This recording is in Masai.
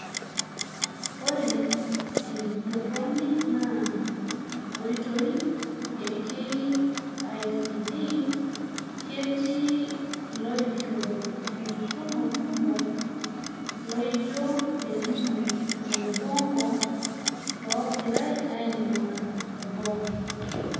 Ore entorroni ena oitoi eKICD , ketii iloishoru enkisuma kumok loijo Elimu o Ubongo loogirai ainguaa teboo.